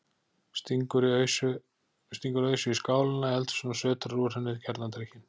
Stingur ausu í skálina í eldhúsinu og sötrar úr henni kjarnadrykkinn.